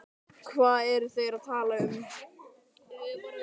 Hvað eru þeir að tala um?